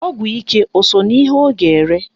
Ọgwụ ike o so n'ihe ọ ga-ere?